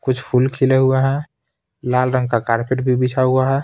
कुछ फूल खिले हुए हैं लाल रंग का कारपेट भी बिछा हुआ है.